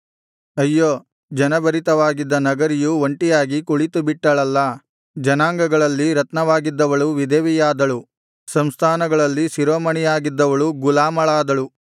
ಅಯ್ಯೋ ಜನಭರಿತವಾಗಿದ್ದ ನಗರಿಯು ಒಂಟಿಯಾಗಿ ಕುಳಿತುಬಿಟ್ಟಳಲ್ಲಾ ಜನಾಂಗಗಳಲ್ಲಿ ರತ್ನವಾಗಿದ್ದವಳು ವಿಧವೆಯಾದಳು ಸಂಸ್ಥಾನಗಳಲ್ಲಿ ಶಿರೋಮಣಿಯಾಗಿದ್ದವಳು ಗುಲಾಮಳಾದಳು